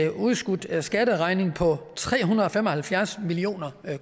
udskudt skatteregning på tre hundrede og fem og halvfjerds million